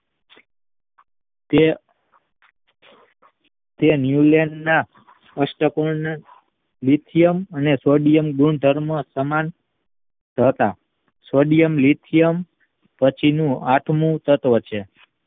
તે તે ન્યુલેનના અષ્ટક નિત્યમ અને સોડિયમ ગુણધર્મો સમાન હતા સોડીયન લિચીયમ પછીનો આઠમો તત્વ છે